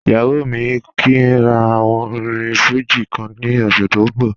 Iyawọ mi ni kí n rà àwòn orín Fuji kan ní òṣè tó n bọ̀